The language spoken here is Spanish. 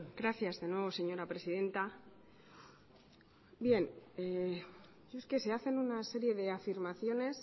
gracias de nuevo señora presidenta bien es que se hacen una serie de afirmaciones